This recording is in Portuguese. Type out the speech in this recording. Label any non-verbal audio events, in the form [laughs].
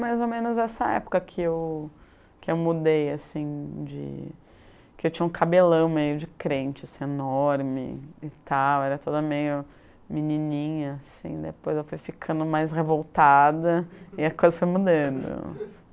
mais ou menos essa época que eu que eu mudei, assim, de... que eu tinha um cabelão meio de crente, assim, enorme e tal, era toda meio menininha, assim, depois eu fui ficando mais revoltada e a coisa foi mudando. [laughs]